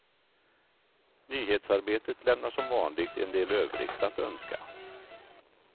Nyhetsarbetet lämnar som vanligt en del övrigt att önska.